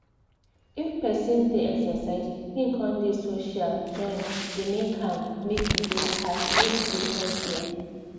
if persin dey exercise hin con dey social join dey make am make e dey healthier.